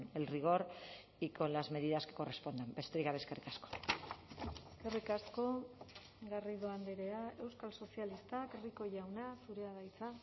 el rigor y con las medidas que correspondan besterik gabe eskerrik asko eskerrik asko garrido andrea euskal sozialistak rico jauna zurea da hitza